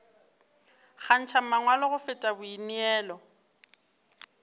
kgantšha mangwalo go feta boineelo